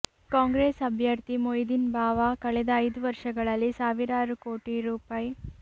ಕಾಂಗ್ರೆಸ್ ಅಭ್ಯರ್ಥಿ ಮೊಯ್ದಿನ್ ಬಾವ ಕಳೆದ ಐದು ವರ್ಷಗಳಲ್ಲಿ ಸಾವಿರಾರು ಕೋಟಿ ರೂ